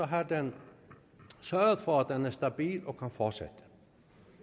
har den sørget for at økonomien er stabil og kan fortsætte